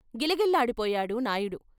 గిలగిల్లాడి పోయాడు నాయుడు.